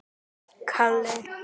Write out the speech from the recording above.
Stundum hugsum við alveg eins.